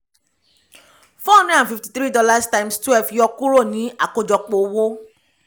four hundred and fifty three dollars times twelve yọ kúrò ní àkójọpọ̀ owó